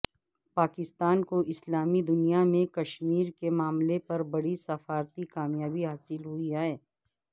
پاکستان کو اسلامی دنیا میں کشمیر کے معاملے پر بڑی سفارتی کامیابی حاصل ہوئی ہے